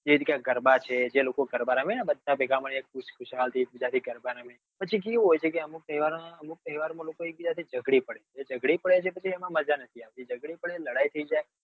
જે રીતે આ ગરબા છે જે લોકો ગરબા રમે ને બધા ભેગા મળી ને એક બીજા થી ખુસ ખુસલ થી એક બીજા થી પછી કેવું હોય હોય ચેઅમુક તહેવાર માં લોકો એક બીજા થી ઝગડી પડે જે ઝગડી પડે છે પછી એમાં મજા નથી આવતી ઝગડી પડે લડાઈ થઇ જાય